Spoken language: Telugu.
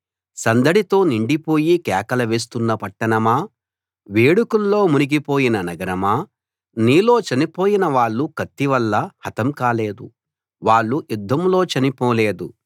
సందడితో నిండి పోయి కేకలు వేస్తున్న పట్టణమా వేడుకల్లో మునిగిపోయిన నగరమా నీలో చనిపోయిన వాళ్ళు కత్తి వల్ల హతం కాలేదు వాళ్ళు యుద్ధంలో చనిపోలేదు